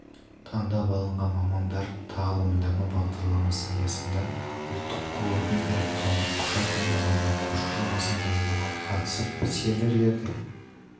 таңдап алынған мамандар тағылымдама бағдарламасы аясында ұлттық қордың электронды құжат айналымына көшу жобасын дайындауға қатысып серверлерде